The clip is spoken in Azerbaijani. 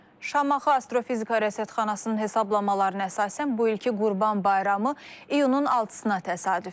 Şamaxı Astrofizika Rəsədxanasının hesablamalarına əsasən bu ilki Qurban Bayramı iyunun 6-na təsadüf edir.